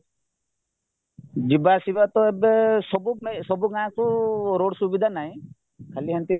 ଯିବା ଆସିବାତ ଏବେ ସବୁ ପାଇଁ ସବୁ ଗାଁକୁ ରୋଡ ସୁବିଧା ନାହିଁ ଖାଲି ଏମିତି